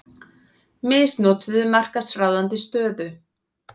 Misnotuðu markaðsráðandi stöðu